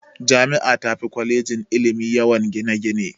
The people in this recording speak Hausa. Jami'a tafi kwalejin ilimi yawan gine-gine.